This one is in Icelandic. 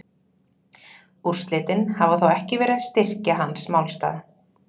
Úrslitin hafa þó ekki verið að styrkja hans málstað.